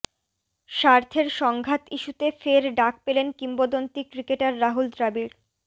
স্বার্থের সংঘাত ইস্যুতে ফের ডাক পেলেন কিংবদন্তি ক্রিকেটার রাহুল দ্রাবিড়